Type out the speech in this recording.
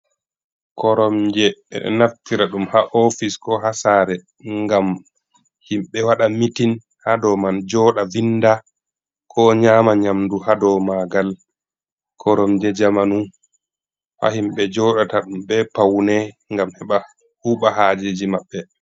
Koromje. Ɓe ɗo naftira ɗum haa ofis, ko haa saare ngam himɓe waɗa mitin haa do man, joɗa vinda, ko nyaama nyamdu haa do maagal. Koromje jamanu haa himɓe joɗata ɗum be paune ngam heɓa huuɓa haajeji maɓɓe.